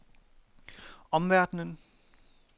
omverdenen